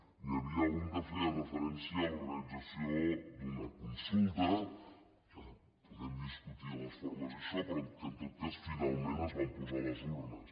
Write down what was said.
n’hi havia un que feia referència a l’organització d’una consulta que en podem discutir les formes i això però en tot cas finalment es van posar les urnes